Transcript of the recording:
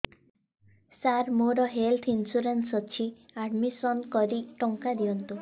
ସାର ମୋର health insurance ଅଛି admission କରି ଟଙ୍କା ଦିଅନ୍ତୁ